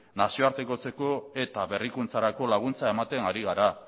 nazioartekotzeko eta berrikuntzarako laguntza ematen ari gara